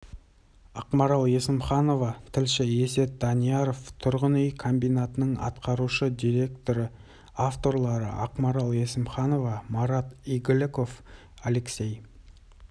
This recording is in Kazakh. ақмарал есімханова тілші есет данияров тұрғын үй комбинатының атқарушы директоры авторлары ақмарал есімханова марат игіліков алексей